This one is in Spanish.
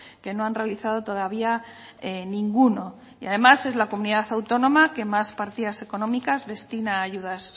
que no han realizado todavía ninguno y además es la comunidad autónoma que más partidas económicas destina a ayudas